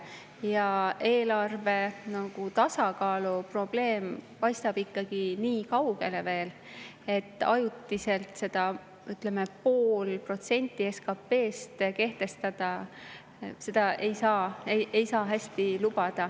Ja eelarve tasakaalu probleem paistab ikkagi nii kaugele, et ajutiselt seda, ütleme, poolt protsenti SKP-st kehtestada hästi ei saa.